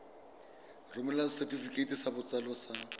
romela setefikeiti sa botsalo sa